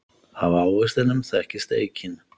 Af ávextinum þekkist eikin.